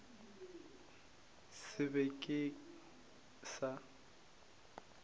se be se ka se